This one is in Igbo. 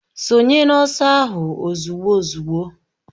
Sonye n'ọsọ ahụ ozugbo uzugbo!